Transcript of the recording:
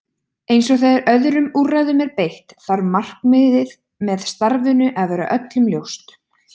Eins og þegar öðrum úrræðum er beitt þarf markmiðið með starfinu að vera öllum ljóst.